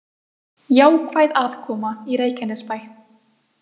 Jákvæð afkoma í Reykjanesbæ